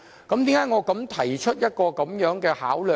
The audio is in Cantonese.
為何我提出這方面的考量呢？